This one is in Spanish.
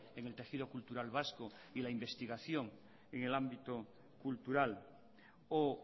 en el tejido cultural vasco y la investigación en el ámbito cultural o